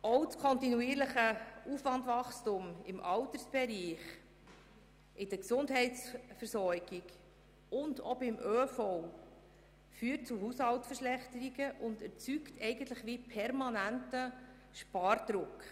Auch das kontinuierliche Wachstum des Aufwands im Altersbereich, bei der Gesundheitsversorgung und auch beim ÖV führt zu Haushaltsverschlechterungen und erzeugt eigentlich einen permanenten Spardruck.